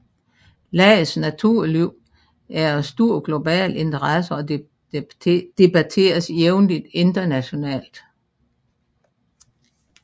Landets naturliv er af stor global interesse og debatteres jævnligt internationalt